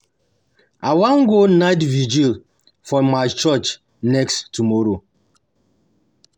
I wan go night vigil for my church next tomorrow